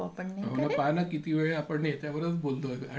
हो ना ,पहा ना आपण किती वेळआपण त्याच्यावरच बोलतोय आणि